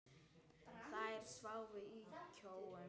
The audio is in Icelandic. Þær sváfu í kojum.